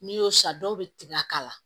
N'i y'o san dɔw bɛ tigɛ k'a la